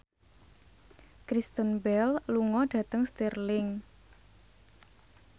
Kristen Bell lunga dhateng Stirling